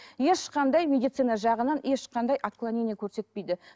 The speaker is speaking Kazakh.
ешқандай медицина жағынан ешқандай отклонение көрсетпейді